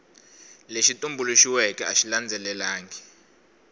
lexi tumbuluxiweke a xi landzelelangi